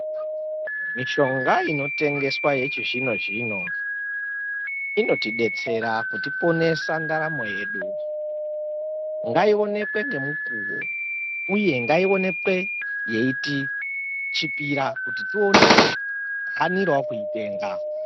Mishonga inotengeswa yechizvino zvino inotidetsera kuti ponesa ndaramo yedu ngaionekwe ngemukuru uye ngaionekwe yeiti chipira kuti tione hanirewo kuitenga.